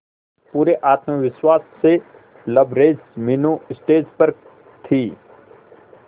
पूरे आत्मविश्वास से लबरेज मीनू स्टेज पर थी